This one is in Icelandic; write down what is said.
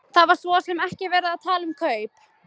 Það var svo sem ekki verið að tala um kaup.